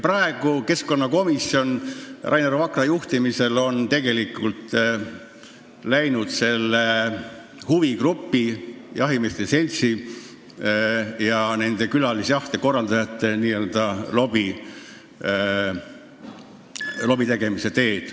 Praegu on keskkonnakomisjon Rainer Vakra juhtimisel läinud selle huvigrupi, jahimeeste seltsi ja nende külalisjahimeeste jaoks jahtide korraldajate n-ö lobitegemisega kaasa.